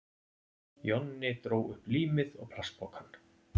Jonni dró upp límið og plastpokann.